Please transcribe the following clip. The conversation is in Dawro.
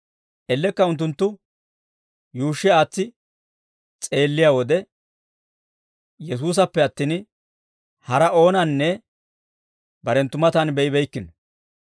Ellekka unttunttu yuushshi aatsi s'eelliyaa wode, Yesuusappe attin, haraa oonanne barenttu matan be'ibeykkino.